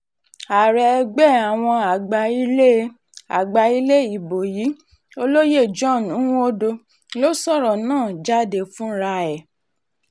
ààrẹ ẹgbẹ́ àwọn àgbà ilé àgbà ilé ibo yìí olóyè john nwodo ló sọ̀rọ̀ náà jáde fura ẹ̀